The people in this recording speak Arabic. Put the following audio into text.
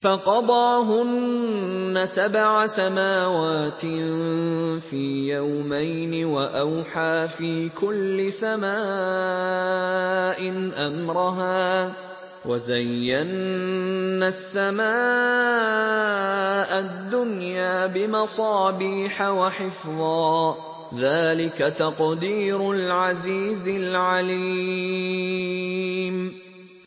فَقَضَاهُنَّ سَبْعَ سَمَاوَاتٍ فِي يَوْمَيْنِ وَأَوْحَىٰ فِي كُلِّ سَمَاءٍ أَمْرَهَا ۚ وَزَيَّنَّا السَّمَاءَ الدُّنْيَا بِمَصَابِيحَ وَحِفْظًا ۚ ذَٰلِكَ تَقْدِيرُ الْعَزِيزِ الْعَلِيمِ